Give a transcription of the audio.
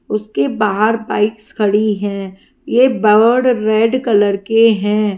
उसके बाहर बाइक्स खड़ी है। ये बर्ड रेड कलर के है।